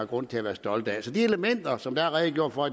grund til at være stolte af så de elementer som der er redegjort for